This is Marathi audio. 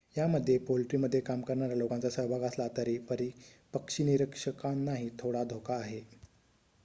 यामध्ये पोल्ट्रीमध्ये काम करणाऱ्या लोकांचा सहभाग असला तरी पक्षीनिरीक्षकांनाही थोडा धोका आहे